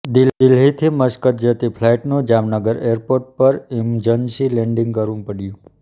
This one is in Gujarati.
દિલ્હીથી મસ્કત જતી ફ્લાઈટનું જામનગર એરપોર્ટ પર ઈમજન્સી લેન્ડિંગ કરવું પડ્યું